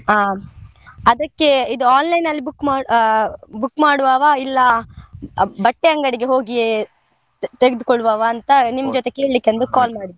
ಆ ಅದಕ್ಕೆ ಇದು online ಅಲ್ಲಿ book ಮಾಡ್~ ಆ book ಮಾಡ್ವವ ಇಲ್ಲ ಬಟ್ಟೆ ಅಂಗಡಿಗೆ ಹೋಗಿಯೇ ತೆಗೆದುಕೊಳ್ಳುವ ಅಂತ ಕೇಳ್ಳಿಕೆ ಒಂದು call ಮಾಡಿದ್ದು.